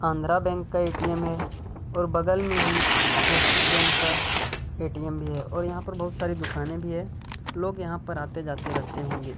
Andhra bank का A T M है और बगल में ही एक्सिस बैंक का ऐ टी एम् है और बहुत सारे लोग भी है लोग यहाँ पर आते जाते रहते होंगे।